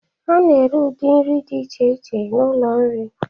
A na-ere ụdị nri dị iche iche n'ụlọ nri.